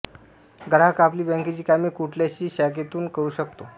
ग्राहक आपली बॅंकेची कामे कुठल्याशी शाखेतून करू शकतो